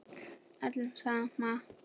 Öllum sama.